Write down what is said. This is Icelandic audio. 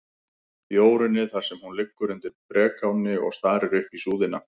Jórunni, þar sem hún liggur undir brekáni og starir upp í súðina.